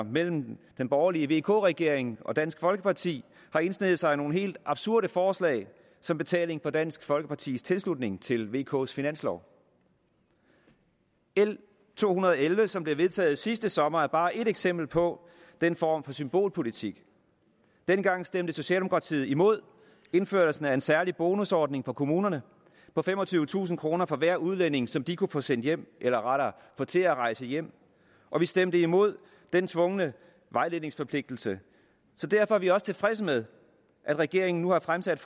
mellem den borgerlige vk regering og dansk folkeparti har indsneget sig nogle helt absurde forslag som betaling for dansk folkepartis tilslutning til vks finanslov l to hundrede og elleve som blev vedtaget sidste sommer er bare et eksempel på den form for symbolpolitik dengang stemte socialdemokratiet imod indførelsen af en særlig bonusordning for kommunerne på femogtyvetusind kroner for hver udlænding som de kunne få sendt hjem eller rettere få til at rejse hjem og vi stemte imod den tvungne vejledningsforpligtelse så derfor er vi også tilfredse med at regeringen nu har fremsat